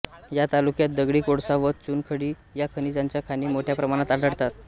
या तालुक्यात दगडी कोळसा व चुनखडी या खनिजांच्या खाणी मोठ्या प्रमाणात आढळतात